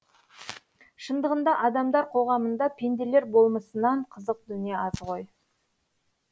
шындығында адамдар қоғамында пенделер болмысынан қызық дүние аз ғой